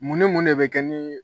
Mun ni mun de bɛ kɛ nin y